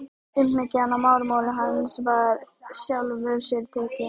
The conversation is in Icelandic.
Umhyggjan í málrómi hans var í sjálfu sér teikn.